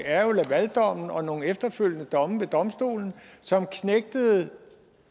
er jo lavaldommen og nogle efterfølgende domme ved eu domstolen som knægtede